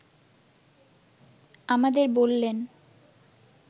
আমাদের বললেন